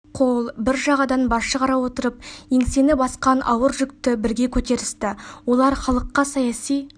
қол бір жағадан бас шығара отырып еңсені басқан ауыр жүкті бірге көтерісті олар халыққа саяси